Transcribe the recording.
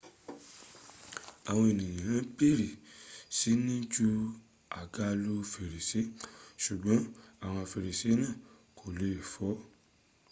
àwọn ènìyàn bẹ̀rẹ̀ sí ni ju àga lu fèrèsé ṣùgbọ́n àwọn fèrèsé náà kò lè fọ